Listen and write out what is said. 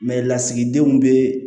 lasigidenw bɛ